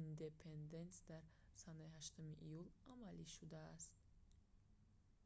индепенденс дар санаи 8 июл амалӣ шудааст